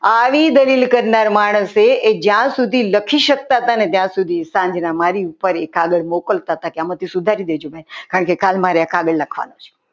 આવી દલીલ કરનાર માણસે એ જ્યાં સુધી લખી શકતા હતા ને ત્યાં સુધી સાંજના મારી ઉપર એક કાગળ મોકલતા હતા કે ભૂલો સુધારી દેજો કારણ કે મારે કાલે આ કાગળ લખવાનું છે.